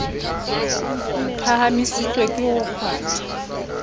re phahamisitswe ke ho kgwathwa